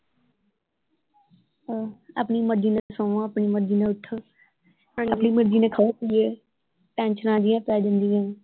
ਆਪਣੀ ਮਰਜੀ ਨਾਲ ਸੋਂਵੋ ਆਪਣੀ ਮਰਜੀ ਨਾਲ ਉੱਠੋ ਹਾਂਜੀ ਆਪਣੀ ਮਰਜੀ ਨਾਲ ਖਾਓ ਪੀਓ ਟੈਂਸ਼ਨਾਂ ਜਿਹੀਆਂ ਪੈ ਜਾਂਦੀਆਂ।